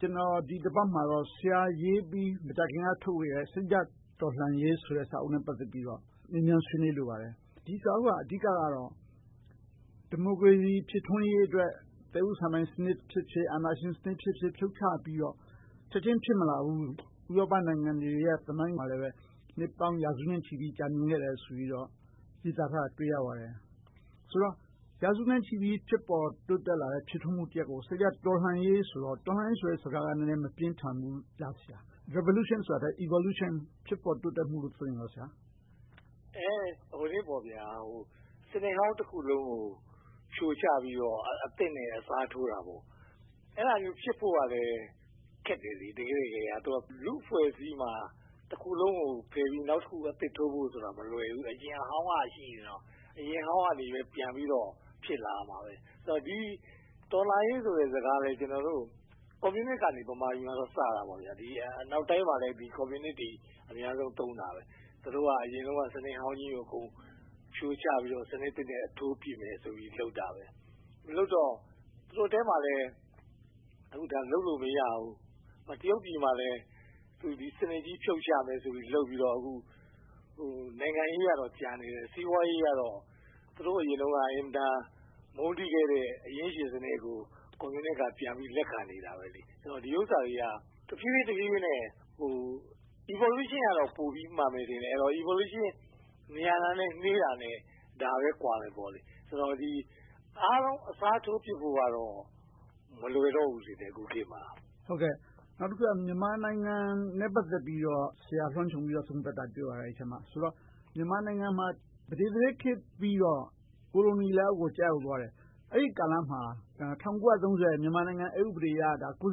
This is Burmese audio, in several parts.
ကျနော် ဒီတပတ်မှာ ဆရာရေးပြီး မကြာခင်က ထုတ်ဝေလိုက်တဲ့ “စိတ်ဓါတ်တော်လှန်ရေး” စာအုပ်နဲ့ ပတ်သက်ပြီးတော့ မေးမြန်းဆွေးနွေးလိုပါတယ်။ ဒီစာအုပ်က အဓိကတော့ ဒီမိုကရေစီ ဖြစ်ထွန်းရေးအတွက် သက်ဦးစံပိုင်ဖြစ်ဖြစ်၊ အာဏာရှင်စနစ်ဖြစ်ဖြစ် ဖြုတ်ချပြီးတော့ ချက်ချင်းဖြစ်မလာနိုင်ဘူး။ ဥရောပနိုင်ငံတွေရဲ့ သမိုင်းမှာလည်း နှစ်ပေါင်းရာစုနဲ့ချီပြီး ကြာမြင့်ခဲ့တယ်ဆိုပြီးတော့ ရေးသားထားတာကို တွေ့ရပါတယ်။ ဆိုတော့ ရာစုနဲ့ချီပြီး ဖြစ်ပေါ်တိုးတက်လာတဲ့ ဖြစ်ထွန်းမှုကို စိတ်ဓါတ်တော်လှန်ရေးဆိုတော့ “တော်လှန်ရေး” ဆိုတဲ့စကားက နည်းနည်းမပြင်းထန်ဘူးလား ဆရာ။ “Revolution” ဆိုတာထက် “Evolution” ဖြစ်ပေါ်တိုးတက်မှုလို့ ပြောရင် မရဘူးလား။ စနစ်ဟောင်းတခုလုံးကို ဖြိုချပြီးတော့ အသစ်နဲ့ အစားထိုးတာဆိုတော့ အဲဒါမျိုးဖြစ်ဖို့က တကယ့်တကယ် ခက်ခဲတယ်။ လူ့အဖွဲ့အစည်းမှာ တခုကိုဖယ်ပြီး နောက်တခုကို အသစ်ထိုးဖို့ဆိုတာ မလွယ်ဘူး။ အရင်အဟောင်းကရှိနေတော့ အရင်ဟောင်းကလူတွေပဲ ပြန်ပြီးတော့ ဖြစ်လာမှာပဲ။ ဒီတော်လှန်ရေးဆိုတဲ့ စကားလည်း ကျနော်တို့ ဗမာပြည်မှာတော့ ကွန်မြူနစ်က စခဲ့တာပါ။ အနောက်တိုင်းမှာလည်း ကွန်မြူနစ်တွေ သုံးခဲ့တယ်။ သူတို့က အရင်တုန်းက စနစ်ဟောင်းကြီးကို အကုန်ဖြိုချပြီးတော့ စနစ်သစ်နဲ့ အစားထိုးဖြစ်မယ်ဆိုပြီး လုပ်တာ။ လုပ်ကြတော့ သူတို့ထဲမှာလဲ လုပ်လို့မရဘူး။ တရုတ်ပြည်မှာလဲ ဒီစနစ်ကြီးဖြုတ်ချမယ် လုပ်ပြီးတော့ အခု နိုင်ငံရေးကတော့ ကျန်နေတယ်။ စီးပွားရေးကတော့ သူတို့ အရင်တုန်းက အင်မတန်မုန်းတီးခဲ့တဲ့ အရင်းရှင်စနစ်ကို ကွန်မြူနစ်က ပြန်ပြီးလက်ခံနေတယ်။ ဒီဟာတွေက တဖြည်းဖြည်းနဲ့ Evolution က ပိုပြီမှန်မယ်ထင်တယ်။ Evolution မြန်တာနဲ့ နှေးတာနဲ့ ဒါပဲကွာမယ်။ အားလုံးအစားထိုးပြစ်ဖို့ကတော့ မလွယ်တော့ဘူး အခုခေတ်မှာ။ နောက်တခုက မြန်မာနိုင်ငံနဲ့ ပတ်သက်ပြီးတော့ အဲဒီစာအုပ်ထဲမှာ ဆရာလွှမ်းခြုံပြီးတော့ သုံးသပ်ထားတာကို တွေ့ပါတယ်။ ဆိုတော့ မြန်မာနိုင်ငံမှာ ပဒေသရာဇ်ခေတ်ပြီးတော့ ကိုလိုနီလက်အောက်ကို ကျရောက်သွားခဲ့တယ်။ အဲဒီကာလမှာ ၁၉၃၀ မြန်မာနိုင်ငံအက်ဥပဒေအရ ဌာန အုပ်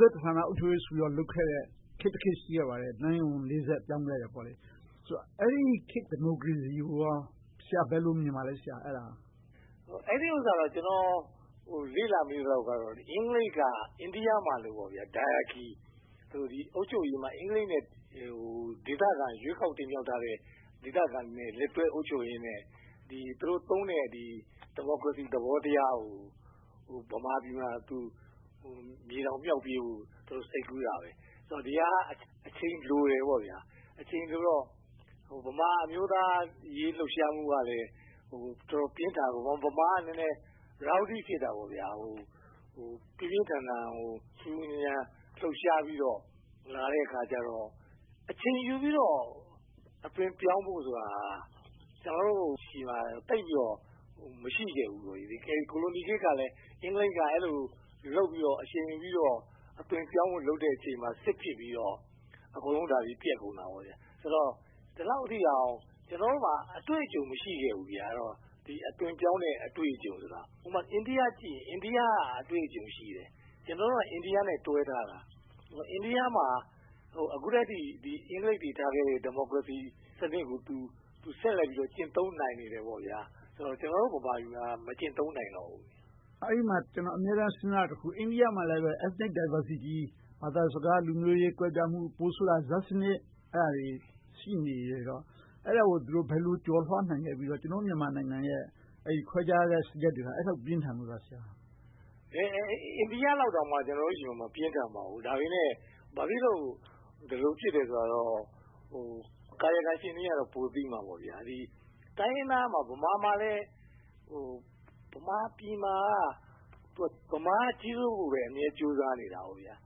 ချုပ်ရေးဆိုပြီး လုပ်ခဲ့တဲ့ ခေတ်တခေတ် ရှိခဲ့တယ်။ နန်းရေးဝန် ဆက် ပြောင်းခဲ့တယ်။ အဲဒီခေတ် ဒီမိုကရေစီကို ဆရာ ဘယ်လိုမြင်ပါလဲ။ အဲဒီအကြောင်းကို ကျနော် လေ့လာမိသလောက်တော့ အင်္ဂလိပ်က အိန္ဒိယမှာလို ဒိုင်အာခိ - အုပ်ချုပ်ရေးမှာ အင်္ဂလိပ်နဲ့ ဒေသခံ ရွေးကောက်တင်မြှောက်ထားတဲ့ ဒေသခံတွေနဲ့ လက်တွဲအုပ်ချုပ်ရင်နဲ့ သူတို့သုံးတဲ့ ဒီမိုကရေစီသဘောထားကို မြန်မာပြည်မှာ မြေတောင်မြှောက်ပေးဖို့ စိတ်ကူးတာပါ။ ဒီဟာက အချိန်လိုတယ် - အချိန်လိုတော့ ဗမာအမျိုးသားရေး လှုပ်ရှားမှုကလည်း တော်တော်လေးပြင်းထန်၊ ဗမာက ပြင်းပြင်းထန်ထန်၊ ဆူဆူညံညံ လှုပ်ရှားပြီးတော့ ဖြစ်လာတော့ အချိန်ယူပြီးတော့ အသွင်ပြောင်းဖို့ဆိုတာ ကျနော်တို့ဆီမှာ သိပ်ပြီးတော့ မရှိခဲ့ဘူး။ ကိုလိုနီခေတ်ကလည်း အင်္ဂလိပ်က အဲဒီလို လုပ်ပြီးတော့ စီစဉ်ပြီးတော့ အသွင်ပြောင်းဖို့ လုပ်တဲ့အချိန်မှာ စစ်ဖြစ်ပြီးတော့ အကုန်လုံး ပျက်သွားခဲ့တယ်။ ဆိုတော့ ဒီလောက်ထိအောင် ကျနော်တို့မှာ အတွေ့အကြုံ မရှိခဲ့ဘူး။ အသွင်ပြောင်းတဲ့ အတွေ့အကြုံဆိုတာ အိန္ဒိယကိုကြည့်ရင် အိန္ဒိယက အတွေ့အကြုံရှိတယ်။ ကျနော်တို့က အိန္ဒိယနဲ့ တွဲထားတာ။ အိန္ဒိယမှာ အခုထိ အင်္ဂလိပ်တွေ ထားခဲ့တဲ့ ဒီမိုကရေစီစနစ်ကို ဆက်လက်ပြီး ကျင့်သုံးနိုင်တယ်။ ကျနော်တို့ ဗမာပြည်မှာ မကျင့်သုံးနိုင်တော့ဘူး။ အဲဒီမှာ ကျနော် အမြဲတမ်း စဉ်းစားမိတာက အိန္ဒိယမှာလည်း Ethnic Diversity - ဘာသာစကား၊ လူမျိုးရေးကွဲပြားမှု - ပိုဆိုးတာက ဇာတ်စနစ် အဲဒါတွေ ရှိနေတော့ အဲဒါတွေကို ဘယ်လိုကျော်လွှာနိုင်ခဲ့ပြီးတော့ ကျနော်တို့ မြန်မာနိုင်ငံရဲ့ ခွဲခြားချက်တွေက အဲဒီလောက် ပြင်းထန်လို့လား။ အိန္ဒိယမှာလောက် ကျနော်တို့ဆီမှာ မပြင်းထန်ပါဘူး။ ဒါပေမဲ့ ဘာဖြစ်လို့ ဒီလိုဖြစ်တယ်ဆိုတာတော့ ကာယကံရှင်တွေက ပိုသိမှာပေါ့။ ဗမာပြည်မှာက ဗမာက ကြီးစိုးဖို့ အမြဲကြိုးစားနေခဲ့တယ်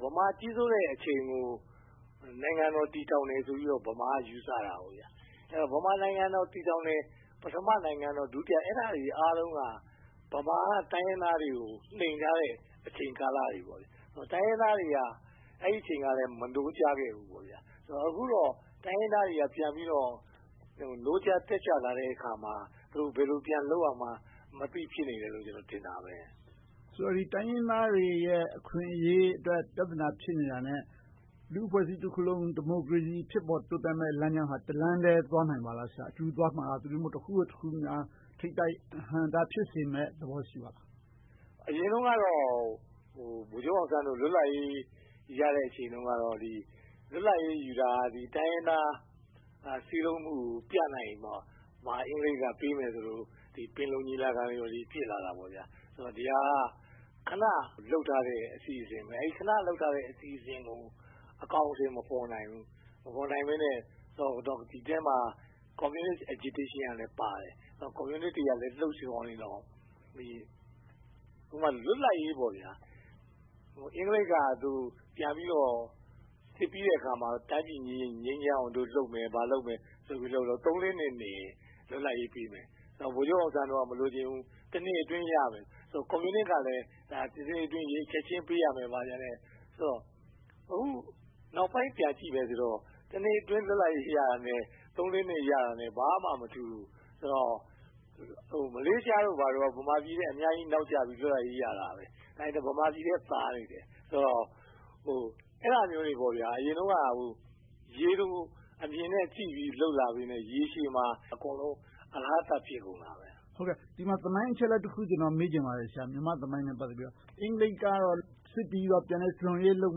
။ ဗမာကြီးစိုးတဲ့အချိန်ကို နိုင်ငံတော် တည်ထောင်တယ်ဆိုပြီးတော့ ဗမာက အမြဲယူဆခဲ့တယ်။ ဗမာနိုင်ငံတော် တည်ထောင်တယ် - ပထမနိုင်ငံတော်၊ ဒုတိယနိုင်ငံတော် အဲဒါတွေအားလုံးက ဗမာက တိုင်းရင်းသားတွေကို နှိမ်ထားတဲ့ အချိန်ကာလတွေ။ တိုင်းရင်းသားတွေကလည်း အဲဒီအချိန်က မနိုးကြားခဲ့ဘူး။ အခုတော့ တိုင်းရင်းသားတွေက ပြန်ပြီးတော့ နိုးကြားတက်ကြွလာတဲ့အခါမှာ သူတို့ ဘယ်လိုပြန်လုပ်ရမယ်ဆိုတာကို မသိ ဖြစ်နေတယ်လို့ ကျနော်ထင်တယ်။ တိုင်းရင်းသားတွေအတွက် အခွင့်အရေး၊ ပြဿနာ ဖြစ်နေတာနဲ့ လူ့အဖွဲ့အစည်းတခုလုံး ဒီမိုကရေစီ ဖြစ်ပေါ်တိုးတက်မယ့် လမ်းကြောင်းဟာ တလမ်းထဲ သွားနိုင်ပါသလား။ အတူတူသွားမလား။ သို့တည်းမဟုတ် တခုပြီးမှာ တခုလား။ ထိပ်တိုက်အဟန့််အတား ဖြစ်စေမယ့်သဘော ရှိပါလား။ အရင်တုန်းကတော့ ဗိုလ်ချုပ်အောင်ဆန်းတို့ လွတ်လပ်ရေးရတဲ့အချိန်တုန်းကတော့ လွတ်လပ်ရေးယူတာ တိုင်းရင်းသား စည်းလုံးမှုကို ပြနိုင်မှ အင်္ဂလိပ်က ပေးမယ်ဆိုလို့ ပင်လုံညီလာ ဖြစ်လာခဲ့တယ်။ ဒီဟာက ခဏလုပ်ထားတဲ့ အစီအစဉ်ပါ။ ခဏလုပ်ထားတဲ့ အစီအစဉ်ကို အကောင်အထည် မဖော်နိုင်ဘူး။ မဖော်နိုင်ဘဲနဲ့ ဒီအထဲမှာ ကွန်မြူနစ် ဆုံးဖြတ်ချက်တွေကည်းပါနေတယ်။ လွတ်လပ်ရေးကို အင်္ဂလိပ်က ပြန်ပြီးတော့ စစ်ပြီးတဲ့အခါမှာ တိုင်းပြည်ငြိမ်းချမ်းအောင် လုပ်မယ်၊ ဘာလုပ်မယ်ဆိုပြီးတော့ သုံးလေးနှစ်နောက် လွတ်လပ်ရေးပေးမယ်ဆိုပြီး ပြောတယ်။ ဗိုလ်ချုပ်အောင်ဆန်းတို့က မလိုချင်ဘူး။ တနှစ်အတွင်း ရရမယ်။ ကွန်မြူနစ်ကလည်း ချက်ချင်းပေးရမယ် ဘာညာနဲ့ တောင်းဆိုခဲ့တယ်။ အခုနောက်ပိုင်း ပြန်ကြည့်ရင် တနှစ်အတွင်း လွတ်လပ်ရေး ရတာနဲ့ သုံးလေးနှစ် ရမှာနဲ့ ဘာမှမထူးဘူး။ ဆိုတော့ မလေးရှားတို့က ဗမာပြည်ထက် အများကြီးနောက်ကျပြီး လွတ်လပ်ရေး ရခဲ့တယ်။ ဒါပေမဲ့ ဗမာပြည်ထက် သာခဲ့တယ်။ အဲဒါမျိုးတွေ အရင်တုန်းက ရေတိုအမြင်နဲ့ကြည့်ပြီး လုပ်လာခဲ့ပြီး ရေရှည်မှာ အကုန်လုံး အလဟာသ ဖြစ်ကုန်တယ်။ ဒီနေရာမှာ သမိုင်းအချက်အလက် တခုကို မေးချင်ပါတယ်။ မြန်မာသမိုင်းနဲ့ ပတ်သက်ပြီးတော့ - အင်္ဂလိပ်က စစ်ပြီးတော့ ပြန်လည်ထူထောင်ရေးလုပ်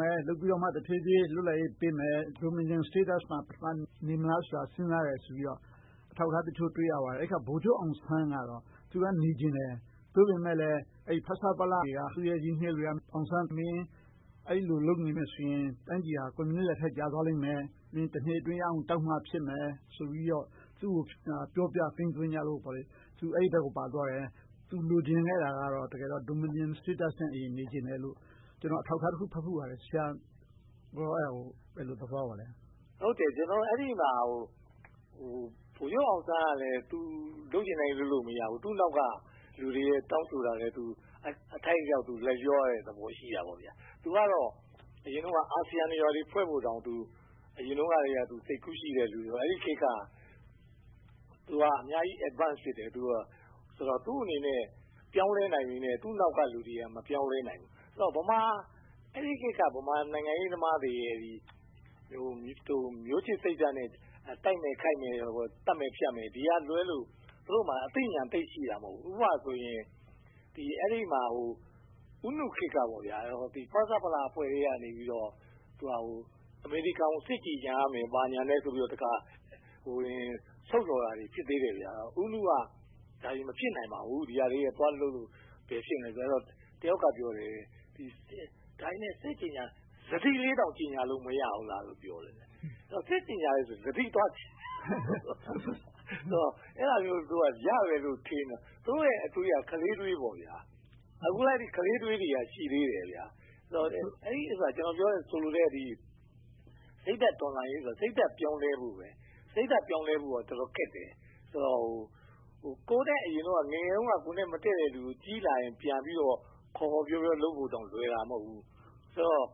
မယ်။ လုပ်ပြီးတော့မှ တဖြည်းဖြည်း လွတ်လပ်ရေးပေးမယ်။ ဒိုမီနီယန် အဆင့်မှာ နေမလားဆိုပြီး စဉ်းစားတယ်ဆိုပြီးတော့ အထောက်အထားတချို့ကို တွေ့ရပါတယ်။ ဗိုလ်ချုပ်အောင်ဆန်းကတော့ နေချင်တယ်။ သို့ပေမဲ့လဲ ဖဆပလ က သူနဲ့ရင်းနှီးတဲ့လူတွေက “အောင်ဆန်း - မင်း အဲဒီလိုလုပ်နေမယ်ဆိုရင် တိုင်းပြည်က ကွန်မြူနစ်လက်ထဲ ကျသွားလိမ့်မယ်။ တနှစ်အတွင်းရအောင်တောင်းမှ ဖြစ်မယ်။” ဆိုပြီးတော့ သူကို ပြောဆိုသိမ်းသွင်းကြလို့ သူ အဲဒီဘက်ကိုပါသွားတယ်။ သူ လိုချင်တဲ့အရာကတော့ တကယ်တော့ ဒိုမီနီယန်အဆင့်နဲ့ နေချင်တယ်လို့ ကျနော် အထောက်အထားတခု ဖတ်ဖူးပါတယ်။ ဆရာအနေနဲ့ အဲဒါကို ဘယ်လိုသဘောရပါလဲ။ ဟုတ်တယ် - အဲဒီမှာ ဗိုလ်ချုပ်အောင်ဆန်းကလည်း သူ လုပ်ချင်တိုင်းလုပ်လို့ မရဘူး။ သူ့နောက်က လူတွေရဲ့ တောင်းဆိုတာလဲ အထိုက်အလျောက် လိုက်လျောရတာတွေလည်း ရှိတယ်။ သူကတော့ အရင်တုန်းက အာဆီယံတွေ၊ ဘာတွေဖွဲ့ဖို့တောင် အရင်တုန်းကတည်းက စိတ်ကူးရှိတဲ့လူဆိုတော့ အဲဒီခေတ်က သူက အများကြီးရှေ့ပြေးနေသူ ဖြစ်တယ်။ သူ့အနေနဲ့ ပြောင်းလဲနိုင်ပေမယ့် သူ့နောက်ကလူတွေက မပြောင်းလဲနိုင်ဘူး။ အဲဒီခေတ်က ဗမာနိုင်ငံရေးသမားတွေရဲ့ မျိုးချစ်စိတ်ဓါတ်နဲ့ တိုက်မယ်ခိုက်မယ်၊ သတ်မယ်ဖြတ်မယ်ဆိုတာကလွဲလို့ သူတို့မှာ အသိဉာဏ်သိပ်ရှိတာ မဟုတ်ဘူး။ ဥပမာ အဲဒီမှာ ဦးနုခေတ်က ဖဆပလအဖွဲ့ထဲကနေ အမေရိကန်ကို စစ်ကြေငြာရမယ်ဆိုပြီး ထုတ်ပြန်တာတွေ ဖြစ်သေးတယ်။ ဦးနုက ဒါတွေမဖြစ်နိုင်ပါဘူး။ ဒီဟာတွေ သွားလုပ်လို့ ဘယ်ဖြစ်မလဲဆိုပြီး သူက ပြောတယ်။ တယောက်ကပြောတယ် စတိလေးလောက် မကြေငြာလို့ မရဘူးလားလို့ ပြောတယ်။ အဲဒီတော့ စစ်ကြေငြာတာကို စတိလောက် ရတယ်လို့ သူတို့က ထင်နေတာ၊ သူတို့ရဲ့အတွေးက ခလေးအတွေးလောက် ရှိခဲ့တာ။ အခုလဲ ခလေးအတွေးတွေက ရှိသေးတယ်။ ကျနော်ဆိုလိုတဲ့ စိတ်ဓါတ်တော်လှန်ရေးဆိုတာ စိတ်ဓါတ်ပြောင်းလဲဖို့ပါ။ စိတ်ဓါတ်ပြောင်းလဲဖို့က တော်တော်လေးခက်တယ်။ ငယ်ငယ်တုန်းက ကိုယ်နဲ့မတည့်တဲ့လူကို ကြီးလာရင် ပြန်ပြီးတော့ ခေါ်ခေါ်ပြောပြော လုပ်ဖို့တောင် လွယ်တာမဟုတ်ဘူး။ ဆိုတော့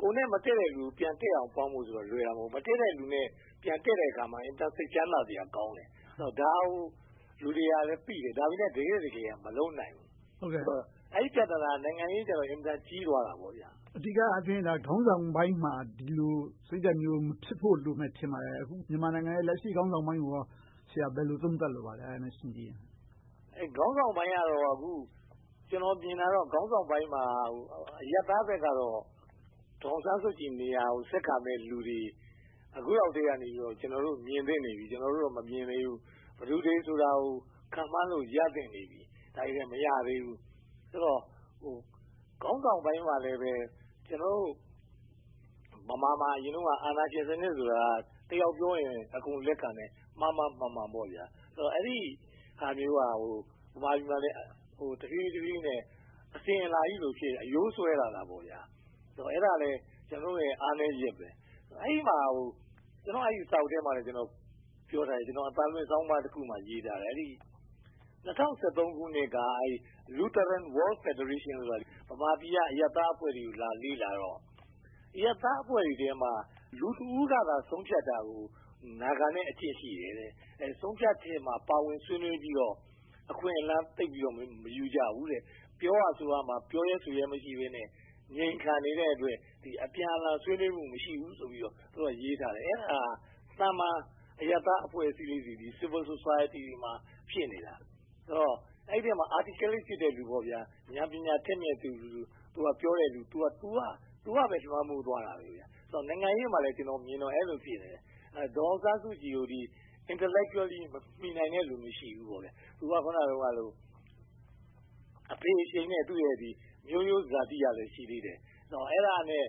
ကိုယ်နဲ့မတည့်တဲ့လူကို ပြန်တည့်အောင် ပေါင်းဖို့ဆိုတာ လွယ်တာမဟုတ်ဘူး။ မတည့်တဲ့လူနဲ့ ပြန်တည့်တဲ့အခါမှာ အင်မတန် စိတ်ချမ်းသာစရာကောင်းတယ်။ ဒါကို လူတွေကသိတယ်။ ဒါပေမဲ့ တကယ့်တကယ်တော့ မလုပ်နိုင်ဘူး။ အဲဒီပြဿနာက နိုင်ငံရေးကြတော့ အင်မတန်ကြီးသွားတယ်။ အဓိကအားဖြင့် ခေါင်းဆောင်ပိုင်းမှာ ဒီလိုစိတ်ဓါတ်မျိုး မဖြစ်ဖို့လိုမယ်ထင်တယ်။ အခု မြန်မာနိုင်ငံရဲ့ လက်ရှိခေါင်းဆောင်ပိုင်းကို ဘယ်လိုသုံးသပ်လိုပါလဲ။ ခေါင်းဆောင်ပိုင်းကတော့ ကျနော် မြင်တာတော့ ခေါင်းဆောင်ပိုင်းမှာ အရပ်သားဘက်ကတော့ ဒေါ်အောင်ဆန်းစုကြည်နေရာကို ဆက်ခံမယ့်လူတွေ အခုလောက်ကတည်းက ကျနော်တို့ မြင်သင့်နေပြီ။ ကျနော်ကတော့ မမြင်သေးဘူး။ ဘယ်သူတွေဆိုတာကို ခန့်မှန်းလို့ ရသင့်နေပြီ။ ဒါပေမဲ့ မရသေးဘူး။ ဆိုတော့ ခေါင်းဆောင်ပိုင်းမှာလဲ ကျနော်တို့ ဗမာမှာ အရင်တုန်းက အာဏာရှင်စနစ်ဆိုတာ တယောက်ပြောရင် အကုန်လက်ခံမယ်။ မှားမှားမှန်မှန် - အဲဒီဟာမျိုးက ဗမာပြည်မှာ တဖြည်းဖြည်းနဲ့ အစဉ်အလာကြီးလို့ဖြစ်နေပြီး အရိုးစွဲနေတယ်။ အဲဒါလဲ ကျနော်တို့ရဲ့ အားနည်းချက်။ ကျနော့်စာအုပ်ထဲမှာတော့ ပြောထားတယ်။ အသံလွှင့်ဆောင်းပါးတခုမှာ ရေးထားတယ် - ၂၀၁၃ ခုနှစ်က The Lutheran World Federation က ဗမာပြည်က အရပ်သားအဖွဲ့တွေကို သွားရောက်လေ့လာတော့ အရပ်သားအဖွဲ့တွေထဲမှာ လူတဦးကသာ ဆုံးဖြတ်တာကို နားခံလေ့ရှိတယ်။ ဆုံးဖြတ်ချက်ထဲမှာ ပါဝင်ဆွေးနွေးပြီးတော့ အခွင့်အလမ်းသိပ်ပြီးတော့ မယူကြဘူး။ ပြောဖို့ဆိုဖို့မှာ ပြောရဲဆိုရဲ မရှိကြဘဲနဲ့ ငြိမ်ခံနေတဲ့အတွက် အပြန်အလှန် ဆွေးနွေးမှု မရှိဘူးဆိုပြီးတော့ ရေးထားတယ်။ အဲဒါ သာမန်အရပ်သားအဖွဲ့လေးတွေ Civil Society မှာ ဖြစ်နေတာ။ ဆိုတော့ အဲဒီထဲမှာ Articulate ဖြစ်တဲ့လူ၊ ဉာဏ်ပညာထက်မြက်တဲ့လူ ပြောတာပဲ လွှမ်းမိုးသွားတယ်။ နိုင်ငံရေးမှာလည်း အဲဒီလိုပဲ မြင်တယ်။ ဒေါ်အောင်ဆန်းစုကြည်ကို Intellectually မီနိုင်တဲ့လူ မရှိဘူးပေါ့။ သူကလည်း အဖေအရှိန်နဲ့ မျိုးရိုးဇာတိကလည်း ရှိသေးတယ်။ အဲဒါလဲ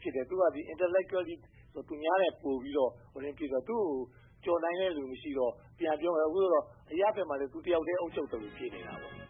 ဖြစ်တယ်။ Intellectually လည်း သူများနဲ့ပိုပြီးရှိတော့ သူကိုကျော်နိုင်တဲ့လူ မရှိတော့ - အရပ်ဘက်မှာလည်း သူတယောက်တည်း အုပ်ချုပ်သလို ဖြစ်နေတာပေါ့။